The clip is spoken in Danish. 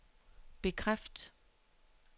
bekræft